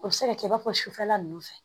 O bɛ se ka kɛ i b'a fɔ sufɛla ninnu fɛ